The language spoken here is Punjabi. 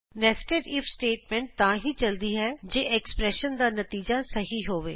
ਨੇਸਟੈਡ ਇਫ ਸਟੇਟਮੈਂਟ ਤਾਂ ਹੀ ਚਲਦੀ ਹੈ ਜੇ ਐਕਸਪ੍ਰੇਸ਼ਨ ਦਾ ਨਤੀਜਾ ਸਹੀ ਹੋਵੇ